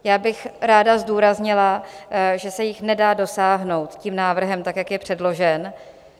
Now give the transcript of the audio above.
Já bych ráda zdůraznila, že se jich nedá dosáhnout tím návrhem tak, jak je předložen.